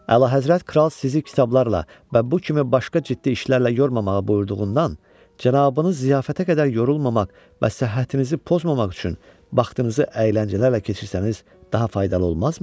Əla Həzrət kral sizi kitablarla və bu kimi başqa ciddi işlərlə yormamağı buyurduğundan, cənabınız ziyafətə qədər yorulmamaq və səhhətinizi pozmamaq üçün vaxtınızı əyləncələrlə keçirsəniz daha faydalı olmazmı?